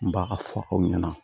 N b'a ka fɔ aw ɲɛna